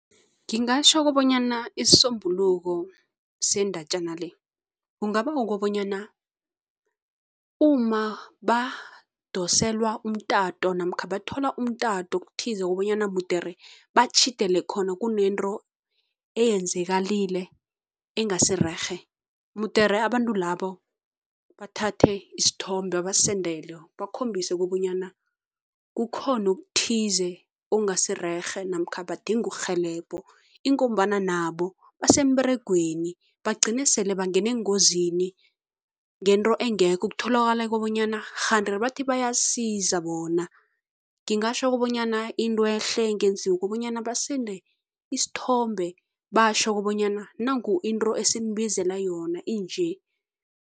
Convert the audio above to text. Ngingatjho kobanyana isisombululo sendatjana le kungaba kukobanyana uma badoselwa umtato namkha bathola umtato okuthize kobanyana mudere batjhidele khona, kunento eyenzakalile engasirerhe, mudere abantu labo bathathe isithombe babasendele, bakhombise kobanyana kukhona okuthize okungasirerhe namkha badinga urhelebho ingombana nabo basemberegweni bagcine sele bangene engozini ngento engekho, ukutholakala kobanyana kganti bathi bayasiza bona. Ngingatjho kobanyana into ehle engenziwa kubanyana basende isithombe batjho kobanyana nangu into esinibizela yona, inje.